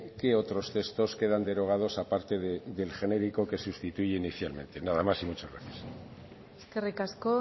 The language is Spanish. qué otros textos quedan derogados a parte del genérico que sustituye inicialmente nada más y muchas gracias eskerrik asko